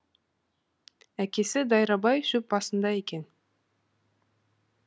әкесі дайрабай шөп басында екен